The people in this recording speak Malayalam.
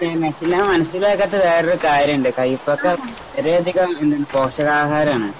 പിന്നെ പിന്നെ മനസ്സിലാകാത്തെ വേറൊരു കാര്യണ്ട് കൈപ്പൊക്കെ കുറേയധികം പോഷകാഹാരമാണ്.